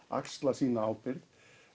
axla sína ábyrgð